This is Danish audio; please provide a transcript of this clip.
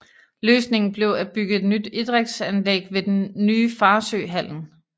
Løsningen blev at bygge et nyt idrætsanlæg på ved den nye Farsø Hallen